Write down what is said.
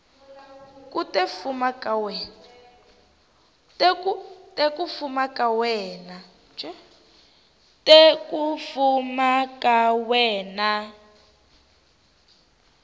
te ku fuma ka wena